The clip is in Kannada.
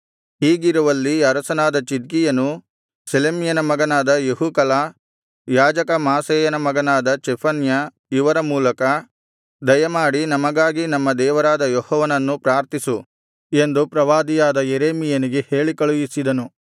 ಹೀಗಿರುವಲ್ಲಿ ಅರಸನಾದ ಚಿದ್ಕೀಯನು ಶೆಲೆಮ್ಯನ ಮಗನಾದ ಯೆಹೂಕಲ ಯಾಜಕ ಮಾಸೇಯನ ಮಗನಾದ ಚೆಫನ್ಯ ಇವರ ಮೂಲಕ ದಯಮಾಡಿ ನಮಗಾಗಿ ನಮ್ಮ ದೇವರಾದ ಯೆಹೋವನನ್ನು ಪ್ರಾರ್ಥಿಸು ಎಂದು ಪ್ರವಾದಿಯಾದ ಯೆರೆಮೀಯನಿಗೆ ಹೇಳಿಕಳುಹಿಸಿದನು